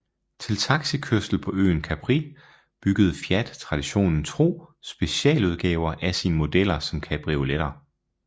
Til taxikørsel på øen Capri byggede Fiat traditionen tro specialudgaver af sine modeller som cabrioleter